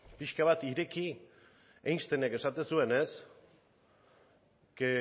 pixka bat ireki einstenek esaten zuenez que